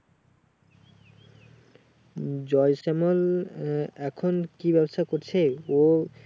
উম জয়শ্যামল এখন কি ব্যবসা করছে? ও